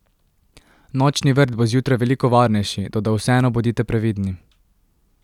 Nočni vrt bo zjutraj veliko varnejši, toda vseeno bodite previdni.